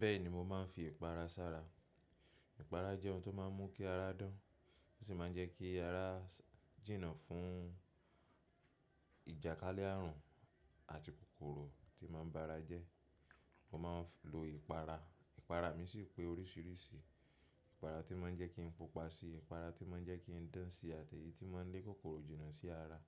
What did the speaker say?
Bẹ́ẹ̀ni mo máa ń fi ìpara sára. Ìpara jẹ́ ohun tó máa ń mú kí ara dán, ó sì máa ń jẹ́ kí ara jìnnà fún ìjàkalé àrùn àti kòkòrò tí màá ń bára jẹ́. Mo ma ń lo ìpara. Ìpara mi sì pé oríṣiríṣi. Ìpara tí má ń jẹ́ kí n pupa síi. Ìpara tí má ń jẹ́ kí n dán síi àti èyí tí má ń lé kòkòrò jìnnà sí ara.